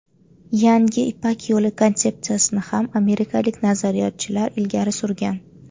Yangi Ipak Yo‘li konsepsiyasini ham amerikalik nazariyotchilar ilgari surgan.